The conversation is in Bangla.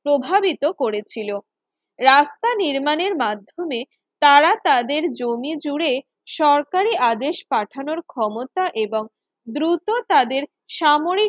প্রভাবিত করেছিল রাস্তা নির্মাণের মাধ্যমে তারা তাদের জমি জুড়ে সরকারি আদেশ পাঠানোর ক্ষমতা এবং দ্রুত তাদের সামরিক